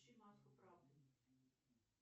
включи маску правды